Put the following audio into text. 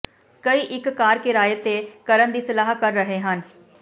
ਕਈ ਇੱਕ ਕਾਰ ਕਿਰਾਏ ਤੇ ਕਰਨ ਦੀ ਸਲਾਹ ਕਰ ਰਹੇ ਹਨ